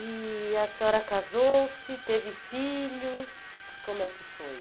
E a senhora casou-se, teve filhos, como é que foi?